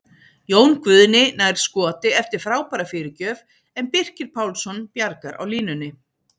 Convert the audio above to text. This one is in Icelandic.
Jón Guðni nær skoti eftir frábæra fyrirgjöf en Birkir Pálsson bjargar á línunni!